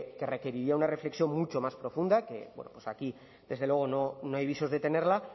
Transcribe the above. que requeriría una reflexión mucho más profunda que aquí desde luego no hay visos de tenerla